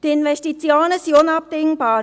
Die Investitionen sind unabdingbar;